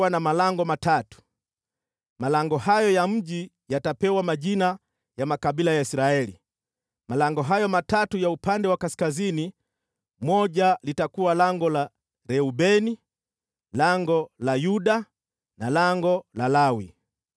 malango hayo ya mji yatapewa majina ya makabila ya Israeli. Malango hayo matatu ya upande wa kaskazini moja litakuwa lango la Reubeni, lango la Yuda na lango la Lawi.